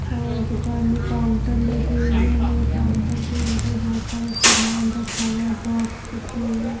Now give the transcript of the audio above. और दुकान में काउंटर लगे हुए हैं काउंटर के अंदर बहोत सारा सामान रखा हुआ है बॉक्स रखी हुई है।